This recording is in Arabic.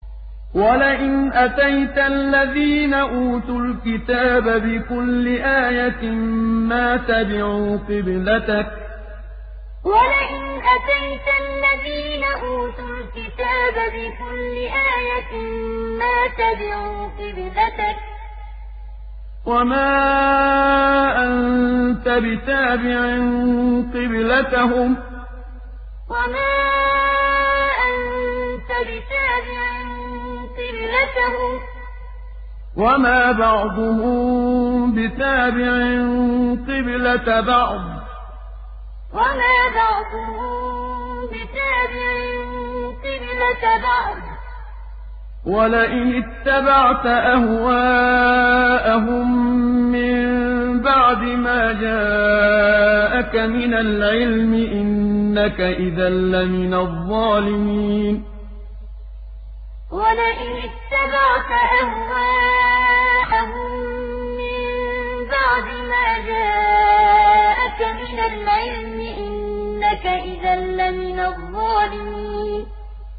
وَلَئِنْ أَتَيْتَ الَّذِينَ أُوتُوا الْكِتَابَ بِكُلِّ آيَةٍ مَّا تَبِعُوا قِبْلَتَكَ ۚ وَمَا أَنتَ بِتَابِعٍ قِبْلَتَهُمْ ۚ وَمَا بَعْضُهُم بِتَابِعٍ قِبْلَةَ بَعْضٍ ۚ وَلَئِنِ اتَّبَعْتَ أَهْوَاءَهُم مِّن بَعْدِ مَا جَاءَكَ مِنَ الْعِلْمِ ۙ إِنَّكَ إِذًا لَّمِنَ الظَّالِمِينَ وَلَئِنْ أَتَيْتَ الَّذِينَ أُوتُوا الْكِتَابَ بِكُلِّ آيَةٍ مَّا تَبِعُوا قِبْلَتَكَ ۚ وَمَا أَنتَ بِتَابِعٍ قِبْلَتَهُمْ ۚ وَمَا بَعْضُهُم بِتَابِعٍ قِبْلَةَ بَعْضٍ ۚ وَلَئِنِ اتَّبَعْتَ أَهْوَاءَهُم مِّن بَعْدِ مَا جَاءَكَ مِنَ الْعِلْمِ ۙ إِنَّكَ إِذًا لَّمِنَ الظَّالِمِينَ